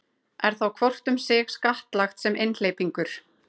er þá hvort um sig skattlagt sem einhleypingur